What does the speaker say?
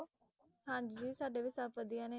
ਹਾਂਜੀ ਸਾਡੇ ਵੀ ਸਭ ਵਧੀਆ ਨੇ,